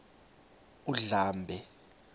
undlambe